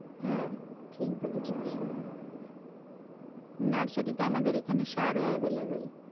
হ্যাঁ, ঠিক বলেছিস নার্সারিতে আমাদের এখানে সারও available